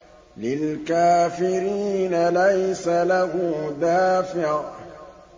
لِّلْكَافِرِينَ لَيْسَ لَهُ دَافِعٌ